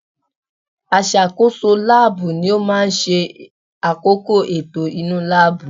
Aṣàkóso láàbù ni ó máa ń ṣe àkóko ètò inú láàbù